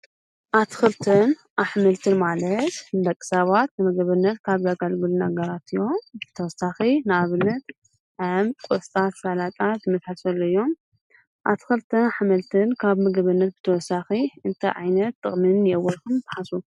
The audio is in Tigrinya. ኣትክልትን ኣሕምልትን ንደቂ ሰባት ንምግብነት ካብ ዘግልግሉ ነገራት እዮም። ብተወሳኺ ንኣብነት ከም ቆስጣ ሰላጣ ዝአመሰሉ እዮም ከብ ምግብነት ተወሳኺ ታይ ዓይነት ጥቅሚ አለዎም ኢልኩም ትሓስቡ?